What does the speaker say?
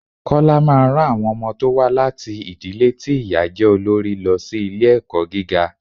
Kọ́lá máa ran àwọn ọmọ tó wá láti ìdílé ti ìyá jẹ́ olorí lọ sí ilé ẹ̀kọ́ gíga.